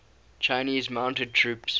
chinese mounted troops